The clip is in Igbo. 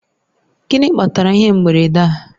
Gịnị kpatara ihe mberede a?